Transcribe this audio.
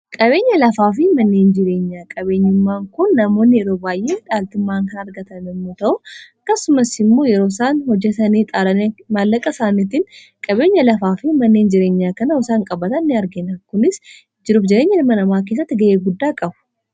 qabeenya lafaa fi manneen jireenyaa qabeenyummaan kun namoonni yeroo baay'ee dhaaltumaan kan argatan immuu ta'u kasumaimmoo yeroo isaan hojatanii xaarani maallaqa isaanitiin qabeenya lafaa fi manneen jireenyaa kanau isaan qabatan ni arginakunis jiruuf jireenya hilma namaa keessatti ga'ee guddaa qabu